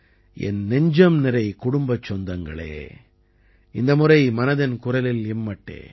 என் நெஞ்சம் நிறை குடும்பச் சொந்தங்களே இந்த முறை மனதின் குரலில் இம்மட்டே